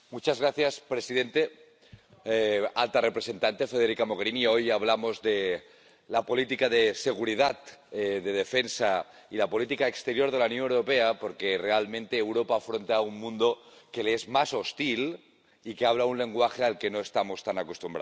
Señor presidente, señora alta representante, hoy hablamos de la política de seguridad y de defensa y de la política exterior de la Unión Europea, porque realmente Europa afronta un mundo que le es más hostil y que habla un lenguaje al que no estamos tan acostumbrados.